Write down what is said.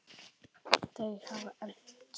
Þau hafa enst.